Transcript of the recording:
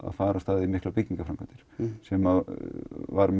fara af stað í miklar byggingaframkvæmdir sem var